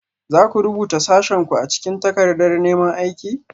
Za ku rubuta sashenku a cikin takardar neman aiki?